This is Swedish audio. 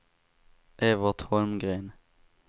Evert Holmgren